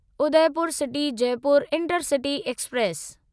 Udaipur city Jaipur intercity express